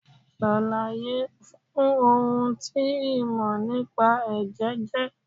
Ṣàlàyé fun ohun tí ìmò nípa Ẹ̀jẹ̀ jẹ́.